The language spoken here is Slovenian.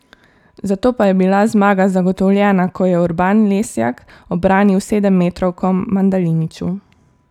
Zato pa je bila zmaga zagotovljena, ko je Urban Lesjak obranil sedemmetrovko Mandaliniću.